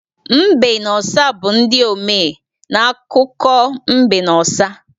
Mbe na ọsa bụ ndị omee n'akụkụ mbe na ọsa.